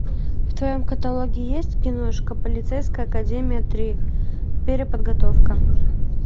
в твоем каталоге есть киношка полицейская академия три переподготовка